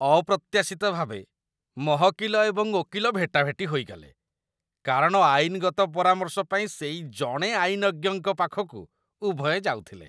ଅପ୍ରତ୍ୟାଶିତ ଭାବେ, ମହକିଲ ଏବଂ ଓକିଲ ଭେଟାଭେଟି ହୋଇଗଲେ, କାରଣ ଆଇନଗତ ପରାମର୍ଶ ପାଇଁ ସେଇ ଜଣେ ଆଇନଜ୍ଞଙ୍କ ପାଖକୁ ଉଭୟେ ଯାଉଥିଲେ।